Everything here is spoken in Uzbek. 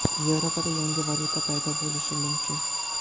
Yevropada yangi valyuta paydo bo‘lishi mumkin.